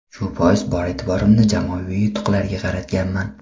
Shu bois, bor e’tiborimni jamoaviy yutuqlarga qaratganman.